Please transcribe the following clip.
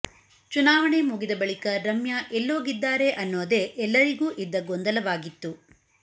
ಚುನಾವಣೆ ಮುಗಿದ ಬಳಿಕ ರಮ್ಯಾ ಎಲ್ಲೋಗಿದ್ದಾರೆ ಅನ್ನೋದೇ ಎಲ್ಲರಿಗೂ ಇದ್ದ ಗೊಂದಲವಾಗಿತ್ತು